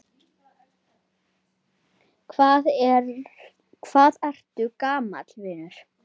Hvað ertu gamall, vinur?